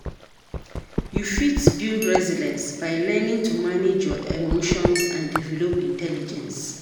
You fit build resilience by learning to manage your emotions and develop intelligence.